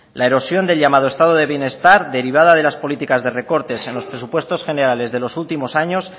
la erosión del llamado estado del bienestar derivada de las políticas de recortes en los presupuestos generales de los últimos años